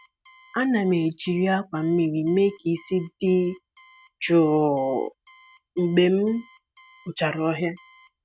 Ana m ejiri akwa mmiri mee ka isi dị jụụ mgbe m kpochara ọhịa.